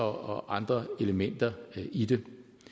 og andre elementer i det